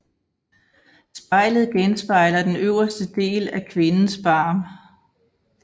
Spejlet genspejler den øverste del af kvindens barm